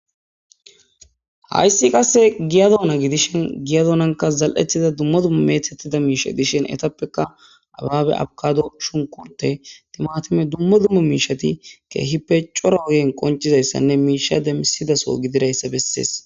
Hayssi qasse giyadoona gidishin giyadoonanka zal'ethida dummo dumma meethettida miisha dishin etappeka abaabe abkado shunkurte timatime dummo dumma miishati keehi pecora ogen qoncizayssanne miisha demisidaso gidirayssa bessees.